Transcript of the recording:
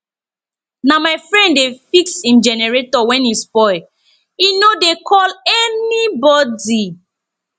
na my friend dey fix im generator wen e spoil e no dey call anybodi